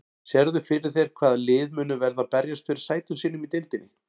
Sérðu fyrir þér hvaða lið munu verða að berjast fyrir sætum sínum í deildinni?